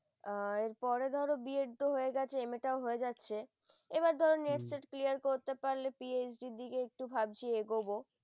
আহ এর পরে ধর b ed তো হয়ে গেছে MA তাও হয়ে গেছে, এবার ধর neet টা clear করতে পারলে PhD এর দিকে একটু ভাবছি এগোব ।